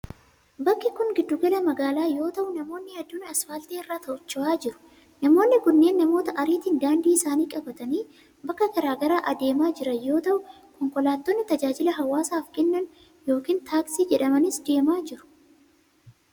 Bakki kun giddu gala magaalaa yoo ta'u, namoonni hedduun asfaaltii irra socho'aa jiru. Namoonni kunneen namoota ariitiin daandii isaanii qabatanii bakka garaa garaa adeemaa jiran yoo ta'u, konkolaattonni tajaajila hawaasaaf kennan yokin taaksii jedhamanis deemaa jiru.